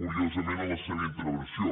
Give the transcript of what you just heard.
curiosament en la seva intervenció